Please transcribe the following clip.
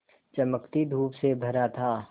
चमकती धूप से भरा था